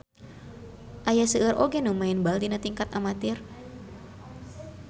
Aya seueur oge nu maen bal dina tingkat amatir.